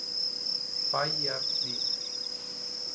Bæjarhlíð